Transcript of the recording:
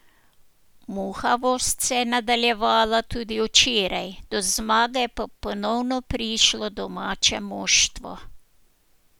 Muhavost se je nadaljevala tudi včeraj, do zmage pa je ponovno prišlo domače moštvo.